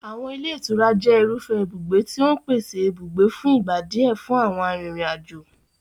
Àwọn ilé ìtura jẹ́ irúfẹ́ ibùgbé tí ó ń pèsè ibùgbé fún ìgbà díẹ̀ fún àwọn arìnrìn-àjò.